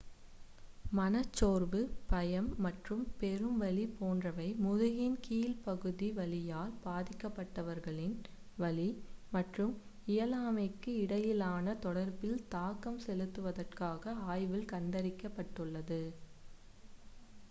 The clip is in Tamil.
மனச்சோர்வு பயம் மற்றும் பெரும் வலி போன்றவை முதுகின் கீழ்ப்பகுதி வலியால் பாதிக்கப்பட்டவர்களின் வலி மற்றும் இயலாமைக்கும் இடையிலான தொடர்பில் தாக்கம் செலுத்துவதாக ஆய்வில் கண்டறியப்பட்டுள்ளது